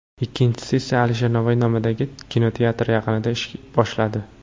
Ikkinchisi esa Alisher Navoiy nomidagi kinoteatr yaqinida ish boshladi.